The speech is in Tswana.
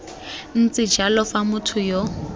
ntse jalo fa motho yo